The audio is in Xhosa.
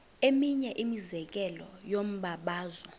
eminye imizekelo yombabazo